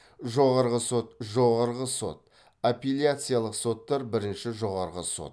жоғарғы сот жоғарғы сот апелляциялық соттар бірінші жоғарғы сот